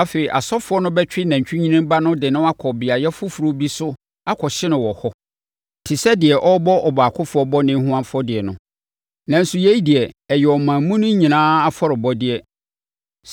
Afei asɔfoɔ no bɛtwe nantwinini ba no de no akɔ beaeɛ foforɔ bi so akɔhye no wɔ hɔ te sɛ deɛ ɔrebɔ ɔbaakofoɔ bɔne ho afɔdeɛ no. Nanso yei deɛ, ɛyɛ ɔman mu no nyinaa afɔrebɔdeɛ.